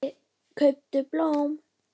Kauptu blóm.